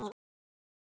Eins og hvað þá?